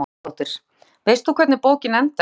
Helga Arnardóttir: Veist þú hvernig bókin endar?